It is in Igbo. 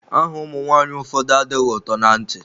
Aha ụmụ nwaanyị ụfọdụ adịghị ụtọ na ntị.